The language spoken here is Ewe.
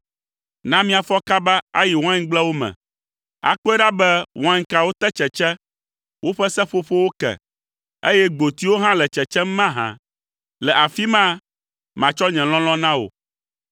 Na míafɔ kaba ayi waingblewo me, akpɔe ɖa be wainkawo te tsetse, woƒe seƒoƒowo ke, eye gbotiwo hã le tsetsem mahã; le afi ma matsɔ nye lɔlɔ̃ na wò.